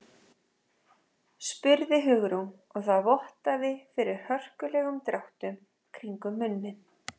spurði Hugrún og það vottaði fyrir hörkulegum dráttum kringum munninn.